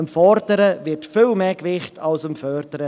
Dem Fordern wird viel mehr Gewicht beigemessen als dem Fördern.